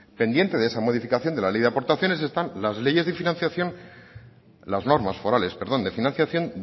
pendiente de esa modificación de la ley de aportaciones están las normas forales de financiación